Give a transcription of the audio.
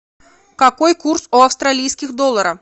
какой курс у австралийских долларов